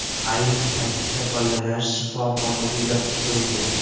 Ayni paytda bolalar shifoxonaga yotqizildi.